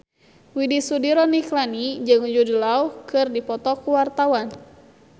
Widy Soediro Nichlany jeung Jude Law keur dipoto ku wartawan